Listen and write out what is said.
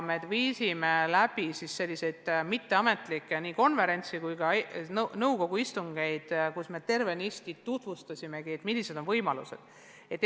Me viisime läbi mitteametlikke konverentse ja ka nõukogu istungeid, kus me tutvustasimegi, millised on selles valdkonnas võimalused.